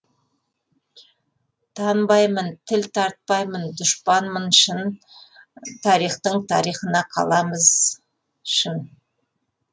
танбаймын тіл тартпаймын дұшпанмын шын тарихтың тарихына қаламыз шын